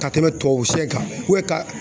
Ka tɛmɛ tubabu sɛ kan ka